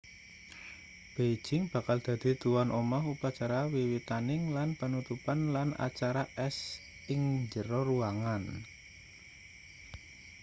beijing bakal dadi tuwan omah upacara wiwitaning lan panutupan lan acara es ing njero ruangan